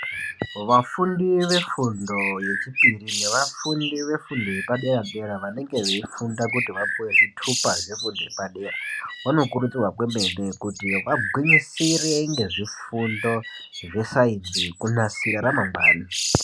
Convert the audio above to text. Vafundi vefundo yechipiri nevafundi vefundo yepadera dera vanenge veifunda kuti vapuwe zvitupa zvefundo yepadera vanokurudzirwa kwemene kuti vagwinyisire ngezvifundo zvesainzi kunasire ramangwani.